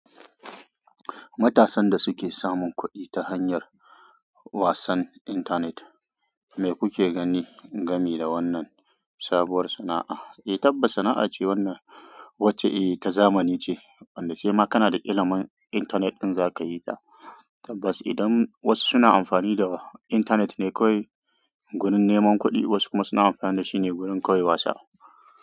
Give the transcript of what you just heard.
Matasan da suke samun kuɗi ta hanyar wasan intanet, me kuke ganin gami da wannan sabuwar sana'a? Eh tabbas sana'a ce wannan wacce eh ta zamani ce, wanda sai ma kana da ilimin intanet din za ka yi ta. Tabbas idan wasu suna amfani da intanet ne kawai wurin neman kuɗi wasu kuma suna amfani da shi ne wurin kawai wasa.